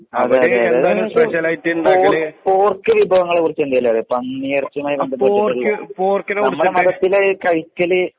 അതെയതെ സ്പെഷ്യലായിട്ട് ഉണ്ടാക്കുന്ന പോർക്ക് വിഭങ്ങളെക്കുറിച്ചു എന്തേലും അറിയാമോ? പന്നിയെറച്ചിയെ കുറിച്ച്. നമ്മുടെ മനസ്സിലെ കയിക്കല്